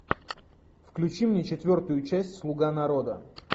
включи мне четвертую часть слуга народа